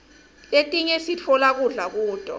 letinye siftola kudla kuto